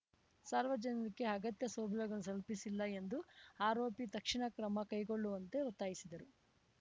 ಸಾರ್ವಜನಿಕರಿಗೆ ಅಗತ್ಯ ಸೌಲಭ್ಯಗಳನ್ನು ಕಲ್ಪಿಸಿಲ್ಲ ಎಂದು ಆರೋಪಿ ತಕ್ಷಣ ಕ್ರಮ ಕೈಗೊಳ್ಳುವಂತೆ ಒತ್ತಾಯಿಸಿದರು